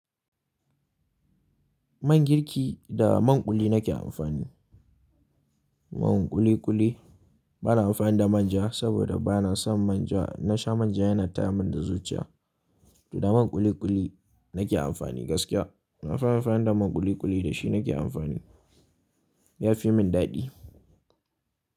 Man girki da man kuli nake amfani. Man kuli kuli bana amfani da manja saboda bana son manja. In na sha manja yana ta min da zuciya. Da man kuli kuli nake amfani gaskiya. Nafi amfani da man kuli kuli da shi nake amfani. Ya fi min daɗi.